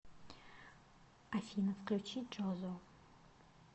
афина включи джозо